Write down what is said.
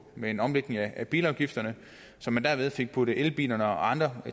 med en omlægning af bilafgifterne så man derved fik puttet elbilerne og andre